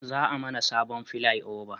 Za a mana sabon filai oba